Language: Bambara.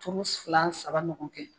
Turu fila saba ɲɔgɔn kɛ.